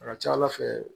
A ka ca ala fɛ